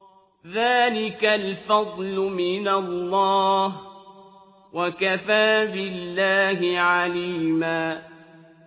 ذَٰلِكَ الْفَضْلُ مِنَ اللَّهِ ۚ وَكَفَىٰ بِاللَّهِ عَلِيمًا